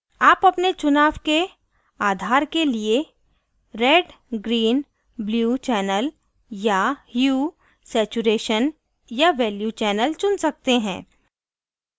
आप अपने चुनाव के आधार के लिए red green blue channel या hue saturation या value channel चुन सकते हैं